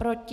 Proti?